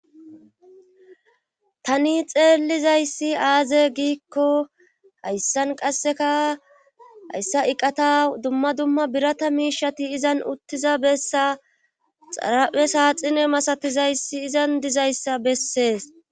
tani xeellizayssi aaze giikko hayssan qasseka hayssa iqata dumma dumma birata miishati izan uttiza bessa xarape saaxine masatizayssi izan dizayssa bessees